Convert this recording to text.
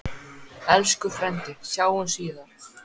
Elsku frændi, sjáumst síðar.